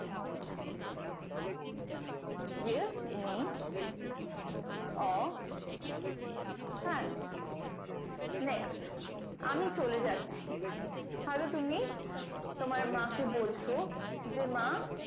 give me your hand next আমি চলে যাচ্ছি ধরো তুমি তোমার মাকে বলছো যে মা